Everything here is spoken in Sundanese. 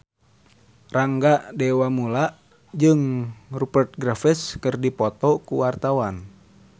Rangga Dewamoela jeung Rupert Graves keur dipoto ku wartawan